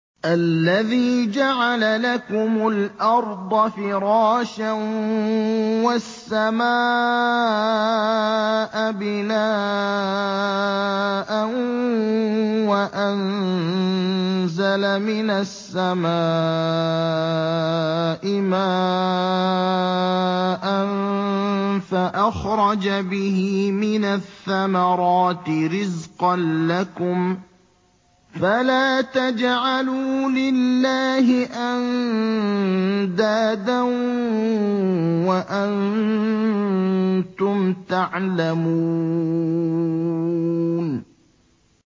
الَّذِي جَعَلَ لَكُمُ الْأَرْضَ فِرَاشًا وَالسَّمَاءَ بِنَاءً وَأَنزَلَ مِنَ السَّمَاءِ مَاءً فَأَخْرَجَ بِهِ مِنَ الثَّمَرَاتِ رِزْقًا لَّكُمْ ۖ فَلَا تَجْعَلُوا لِلَّهِ أَندَادًا وَأَنتُمْ تَعْلَمُونَ